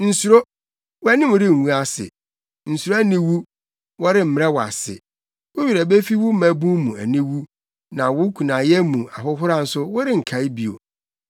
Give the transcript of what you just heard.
“Nsuro; wʼanim rengu ase. Nsuro aniwu; wɔremmrɛ wo ase. Wo werɛ befi wo mmabun mu aniwu na wo kunayɛ mu ahohora nso worenkae bio.